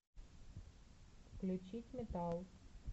включить метал